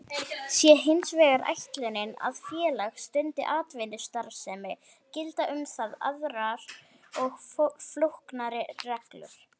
Sé hins vegar ætlunin að félag stundi atvinnustarfsemi gilda um það aðrar og flóknari reglur.